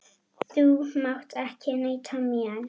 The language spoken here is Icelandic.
Þú mátt ekki neita mér.